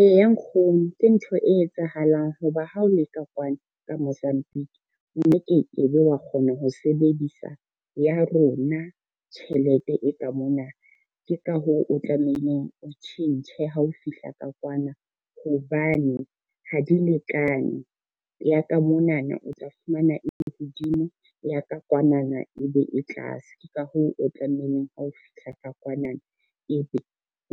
Eya nkgono ke ntho e etsahalang ho ba ha o leka kwano ka Mozambique, o no ke ke be wa kgona ho sebedisa ya rona tjhelete e ka mona. Ke ka hoo o tlamehileng o tjhentjhe ha o fihla ka kwana hobane ha di lekane, ya ka monana o tla fumana e le hodimo, ya ka kwanana ebe e tlase, ke ka hoo o tlamehileng ha o fihla ka kwanana, ebe